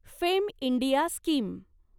fame India scheme